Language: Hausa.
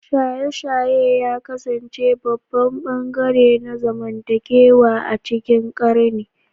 Shaye-shaye ya kasance babban ɓangare na zamantakewa a cikin ƙarni